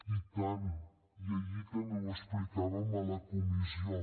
i tant i ahir també ho explicàvem a la comissió